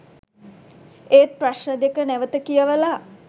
ඒත් ප්‍රශ්ණ දෙක නැවත කියවල